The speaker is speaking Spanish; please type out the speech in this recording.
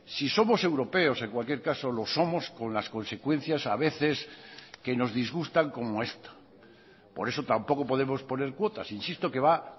si somos europeos en cualquier caso lo somos con las consecuencias a veces que nos disgustan como esta por eso tampoco podemos poner cuotas insisto que va